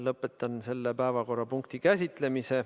Lõpetan selle päevakorrapunkti käsitlemise.